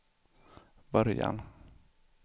början